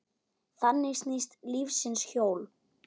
Þannig snýst lífsins hjól.